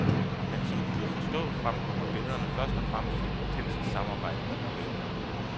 Men som hun lod forstå, fremkommer billederne først og fremmest i et intenst samarbejde med modellen.